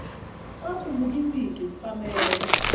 kwakhumuka iwigi kupamela